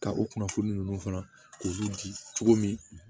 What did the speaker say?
Ka o kunnafoni ninnu fana k'olu di cogo min